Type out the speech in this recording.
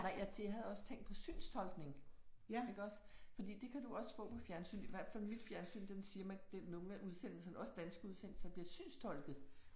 Nej jeg jeg havde også tænkt på synstolkning iggås fordi det kan du også få på fjernsyn i hvert fald mit fjernsyn den siger man den nogle af udsendelserne også danske udsendelser bliver synstolkede